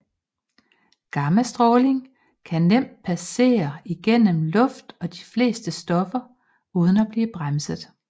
Gammastråling kan nemt passere igennem luft og de fleste stoffer uden at blive bremset